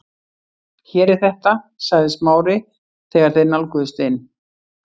Hér er þetta- sagði Smári þegar þeir nálguðust inn